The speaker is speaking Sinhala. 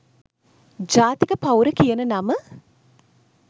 ජාතික පවුර කියන නම